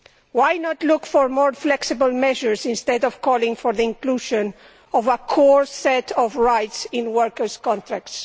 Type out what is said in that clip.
Why not look for more flexible measures instead of calling for the inclusion of a core set of rights in workers' contracts?